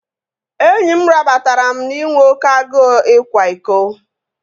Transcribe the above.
Enyi m rabatara m na inwe oké agụụ ịkwa iko